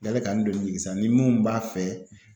Yali ka n donni sa ni mun b'a fɛ